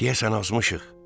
Deyəsən azmışıq.